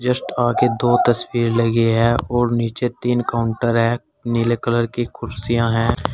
Just आगे दो तस्वीर लगी है और नीचे तीन काउंटर है नीले कलर की कुर्सियां हैं।